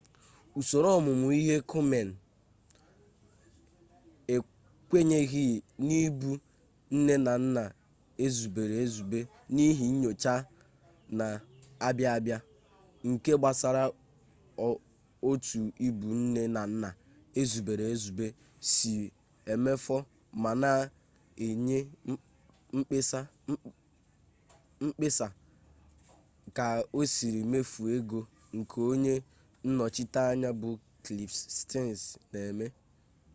usoro omume ihe komen ekwenyeghị n'ịbụ nne na nna ezubere ezube n'ihi nyocha na-abịa abịa nke gbasara otu ịbụ nne na nna ezubere ezube si emefu ma na enye mkpesa ka osiri mefu ego nke onye nnọchiteanya bụ kliff stens na-eme